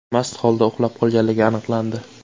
mast holda uxlab qolganligi aniqlandi.